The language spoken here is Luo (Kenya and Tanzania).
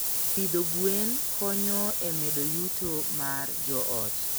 Pidho gwen konyo e medo yuto mar joot.